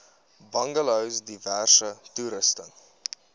bungalows diverse toerusting